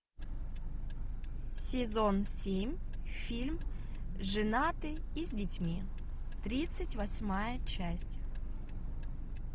сезон семь фильм женатый и с детьми тридцать восьмая часть